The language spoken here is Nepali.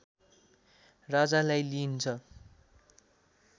राजालाई लिइन्छ